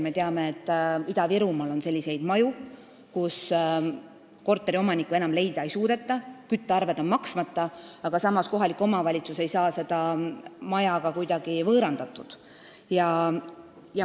Me teame, et Ida-Virumaal on selliseid maju, kus korteriomanikke enam leida ei suudeta, küttearved on maksmata, aga samas ei saa kohalik omavalitsus seda maja ka kuidagi võõrandatud.